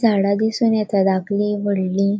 झाड़ा दिसोन येता धाकली वडली.